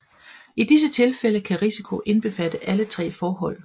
I disse tilfælde kan risiko indbefatte alle tre forhold